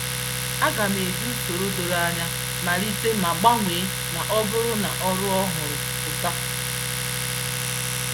Aga m eji usoro doro anya malite ma gbanwee na ọ bụrụ na ọrụ ọhụrụ pụta.